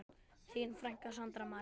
Þín frænka, Sandra María.